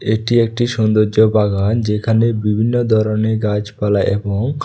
এটি একটি সৌন্দর্য বাগান যেখানে বিভিন্ন দরনের গাছপালা এবং--